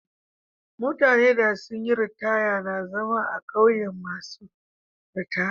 Mutane da sun yi ritaya na zama a'ƙauyen masun ritaya.